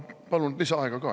Ma palun lisaaega ka, jah.